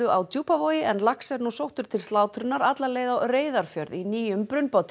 á Djúpavogi en lax er nú sóttur til slátrunar alla leið á Reyðarfjörð í nýjum